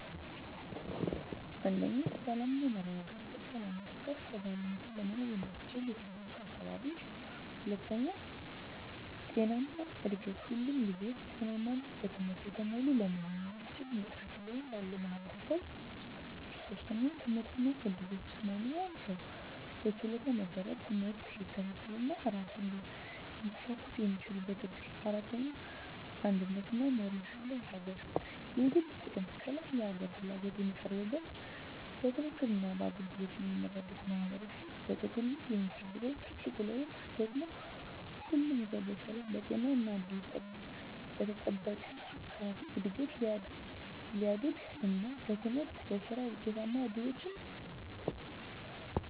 1. ሰላም እና መረጋጋት በሰላም ውስጥ ከፍ ባለ ሁኔታ ለመኖር የሚያስችል የተረጋጋ አካባቢ። 2. ጤናማ እድገት ሁሉም ልጆች ጤናማ እና በትምህርት የተሞሉ ለመሆን የሚያስችል ንቃተ ህሊና ያለው ማህበረሰብ። 3. ትምህርት እና እድሎች ማንኛውም ሰው በችሎታው መሰረት ትምህርት ሊከታተል እና ራሱን ሊያሳኵን የሚችልበት እድል። 4. አንድነት እና መርህ ያለው አገር የግል ጥቅም ከላይ የሀገር ፍላጎት የሚቀርብበት፣ በትክክል እና በአገልግሎት የሚመራበት ማህበረሰብ። በጥቅሉ የምፈልገው ትልቁ ለውጥ ደግሞ ሁሉም ሰው በሰላም፣ በጤና እና በተጠበቀ አካባቢ እድገት ሊያድግ እና በትምህርት እና በሥራ ውጤታማ እድሎችን ሊያገኝ የሚችልበትን የተሻለ አለም ማየት እፈልጋለሁ። በሌላ ቃል፣ የተሻለ ሰው ሰራሽ፣ የተሻለ ማህበረሰብ እና የተሻለ ወደፊት እንዲኖር እመኛለሁ።